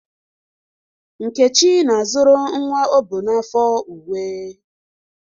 Nkechi na-azụrụ nwa o bu n'afọ uwe